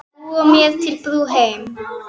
Búa mér til brú heim.